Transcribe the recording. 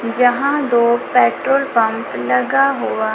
जहां दो petrol pump लगा हुआ--